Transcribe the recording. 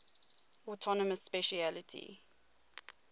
autonomous specialty